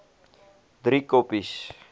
driekoppies